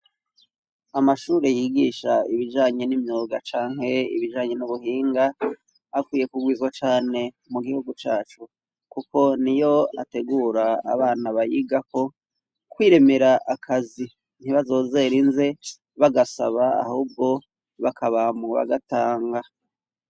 Amashure yigisha ibijanye n'imyoga canke ibijanye n'ubuhinga akwiye kugwizwa cane mu gihugu cacu, kuko ni yo ategura abana bayigako kwiremera akazi ntibazozera inze bagasaba ahubwo bakaba mu bagatanga.